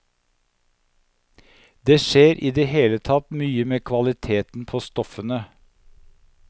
Det skjer i det hele tatt mye med kvaliteten på stoffene.